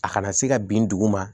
A kana se ka bin dugu ma